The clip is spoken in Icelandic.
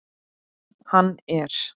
Hann er.